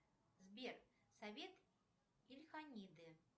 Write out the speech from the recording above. сбер совет ильханиды